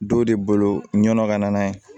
Dɔw de bolo ɲɔ ka na n'a ye